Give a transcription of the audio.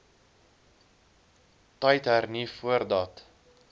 tyd hernu voordat